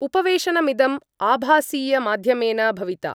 उपवेशनमिदम् आभासीयमाध्यमेन भविता